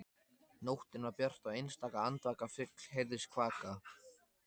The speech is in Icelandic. Nóttin var björt og einstaka andvaka fugl heyrðist kvaka.